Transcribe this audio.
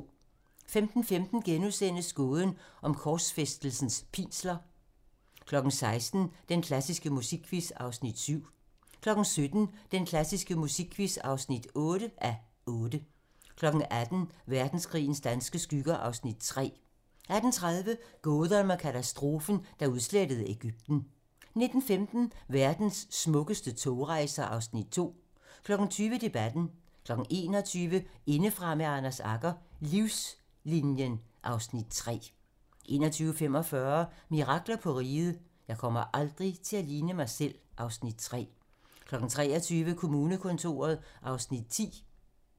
15:15: Gåden om korsfæstelsens pinsler * 16:00: Den klassiske musikquiz (7:8) 17:00: Den klassiske musikquiz (8:8) 18:00: Verdenskrigens danske skygger (Afs. 3) 18:30: Gåden om katastrofen, der udslettede Egypten 19:15: Verdens smukkeste togrejser (Afs. 2) 20:00: Debatten 21:00: Indefra med Anders Agger - Livslinien (Afs. 3) 21:45: Mirakler på Riget - Jeg kommer aldrig til at ligne mig selv (Afs. 3) 23:00: Kommunekontoret (Afs. 10)